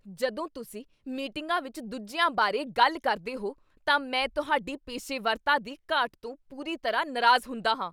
ਜਦੋਂ ਤੁਸੀਂ ਮੀਟਿੰਗਾਂ ਵਿੱਚ ਦੂਜਿਆਂ ਬਾਰੇ ਗੱਲ ਕਰਦੇ ਹੋ ਤਾਂ ਮੈਂ ਤੁਹਾਡੀ ਪੇਸ਼ੇਵਰਤਾ ਦੀ ਘਾਟ ਤੋਂ ਪੂਰੀ ਤਰ੍ਹਾਂ ਨਾਰਾਜ਼ ਹੁੰਦਾ ਹਾਂ।